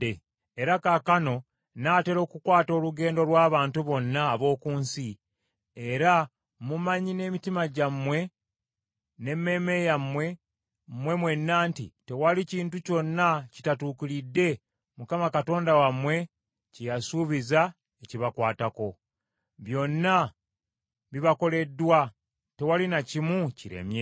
“Era kaakano nnaatera okukwata olugendo lw’abantu bonna ab’oku nsi era mumanyi n’emitima gyammwe n’emmeeme yammwe mmwe mwenna nti, Tewali kintu kyonna kitatuukiridde Mukama Katonda wammwe kye yasuubiza ekibakwatako. Byonna bibakoleddwa, tewali na kimu kiremye.